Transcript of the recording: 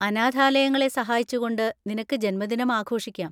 അനാഥാലയങ്ങളെ സഹായിച്ചുകൊണ്ട് നിനക്ക് ജന്മദിനം ആഘോഷിക്കാം.